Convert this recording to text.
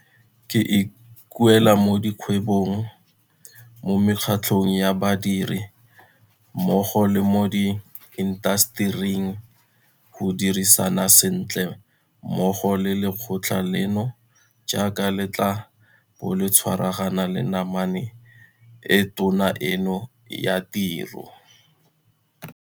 Ke ikuela mo dikgwebong, mo mekgatlhong ya badiri, mmogo le mo diintasetering go dirisana sentle mmogo le lekgotla leno jaaka le tla bo le tshwaragana le namane e tona eno ya tiro.